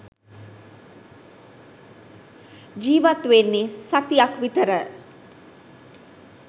ජීවත් වෙන්නේ සතියක් විතර